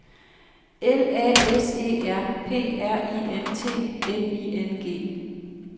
L A S E R P R I N T N I N G